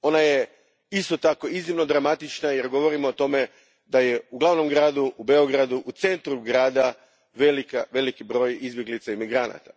Ona je isto tako iznimno dramatična jer govorimo o tome da je u glavnom gradu, u Beogradu, u centru grada, veliki broj izbjeglica i migranata.